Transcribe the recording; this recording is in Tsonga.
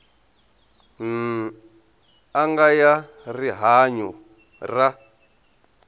n anga ya rihanyu ra